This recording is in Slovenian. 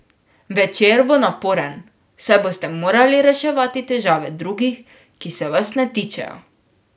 Večer bo naporen, saj boste morali reševati težave drugih, ki se vas ne tičejo.